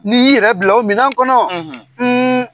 N'i y'i yɛrɛ bila o minan kɔnɔ